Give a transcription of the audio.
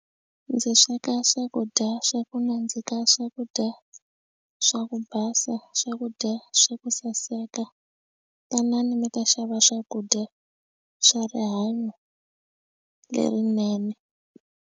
Ndzi sweka swakudya swa ku nandzika swakudya swa ku basa swakudya swa ku saseka tanani mi ta xava swakudya swa rihanyo lerinene.